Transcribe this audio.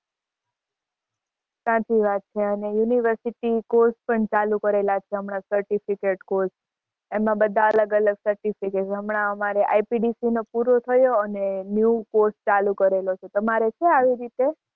સાચી વાત છે અને university course પણ ચાલુ કરેલા છે હમણાં certificate course એમાં બધાં અલગ અલગ certificate. હમણાં અમારે IPDC નો પૂરો થયો અને new course ચાલુ કરેલો છે. તમારે છે આવી રીતે?